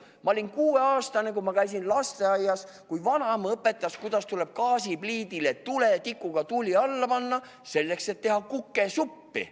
Ma olin kuueaastane, kui ma käisin lasteaias ja vanaema õpetas, kuidas tuleb gaasipliidile tuletikuga tuli alla panna, selleks et teha kukesuppi.